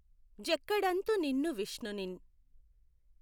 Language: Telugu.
జక్కడఁతు నిన్ను విష్ణునిఁ